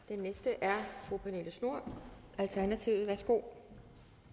den næste er fru pernille schnoor alternativet værsgo